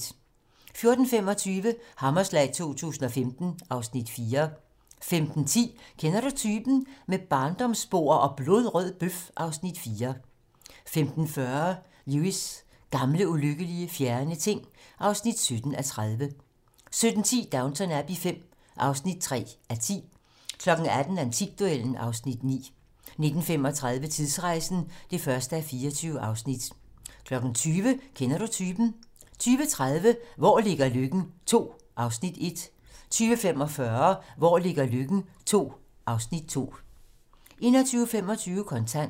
14:25: Hammerslag 2015 (Afs. 4) 15:10: Kender du typen? - Med barndomsbord og blodrød bøf (Afs. 4) 15:40: Lewis: Gamle, ulykkelige, fjerne ting (17:30) 17:10: Downton Abbey V (3:10) 18:00: Antikduellen (Afs. 9) 19:35: Tidsrejsen (1:24) 20:00: Kender du typen? 20:30: Hvor ligger Løkken II (Afs. 1) 20:45: Hvor ligger Løkken II (Afs. 2) 21:25: Kontant